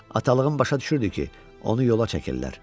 Atalığım başa düşürdü ki, onu yola çəkirlər.